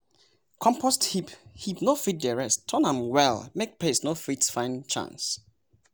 mix lime with soil make cutworms chop breaks for no touch seedlings.